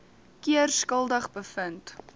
keer skuldig bevind